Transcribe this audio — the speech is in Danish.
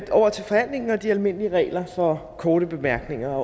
over til forhandlingen og de almindelige regler for korte bemærkninger